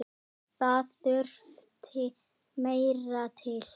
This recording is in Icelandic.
Það þurfti meira til.